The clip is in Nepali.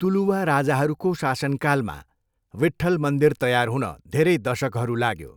तुलुवा राजाहरूको शासनकालमा विठ्ठल मन्दिर तयार हुन धेरै दशकहरू लाग्यो।